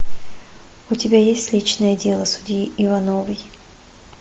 у тебя есть личное дело судьи ивановой